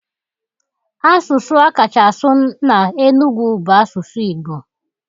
Asụsụ akacha asụ na Enugwu bụ asụsụ Igbo